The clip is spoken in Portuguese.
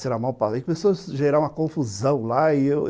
Começou a gerar uma confusão lá e eu